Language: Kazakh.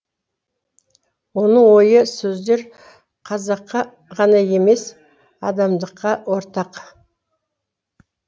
оның ойлы сөздер қазаққа ғана емес адамдыққа ортақ